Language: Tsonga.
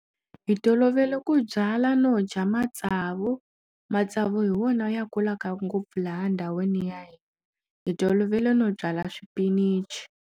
Hi tolovele ku byala no dya matsavu matsavu hi wona ya kulaka ngopfu laha ndhawini ya hina hi tolovele no byala swipinichi.